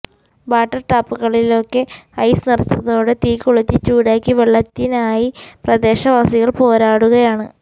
water ടാപ്പുകളിലൊക്കെ ice നിറഞ്ഞതോടെ തീകൊളുത്തി ചൂടാക്കി വെള്ളത്തിനായി പ്രദേശവാസികൾ പോരാടുകയാണ്